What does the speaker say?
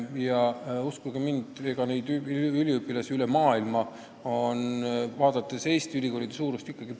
Ja uskuge mind, neid üliõpilasi tuleb siia kogu maailmast ikkagi päris palju.